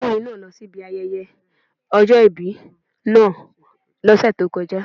Ọmọdékùnrin náà lọsí ibi ayẹyẹ ọjọ́ ìbí náà lọ́sẹ̀ tó kọjá.